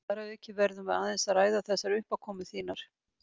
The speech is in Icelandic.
Þar að auki verðum við aðeins að ræða þessar uppákomur þínar.